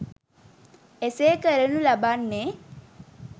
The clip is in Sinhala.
එසේ කරනු ලබන්නේ